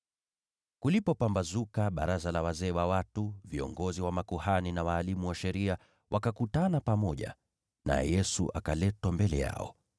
Kulipopambazuka, baraza la wazee wa watu, yaani viongozi wa makuhani na walimu wa sheria, wakakutana pamoja, naye Yesu akaletwa mbele yao.